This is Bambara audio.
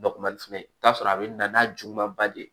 Bakumali fɛnɛ i bi t'a sɔrɔ a be na n'a juguman ba de ye